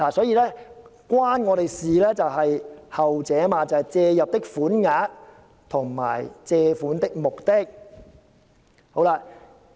"與我們相關的就是後段，即"借入的款額及借款的目的"。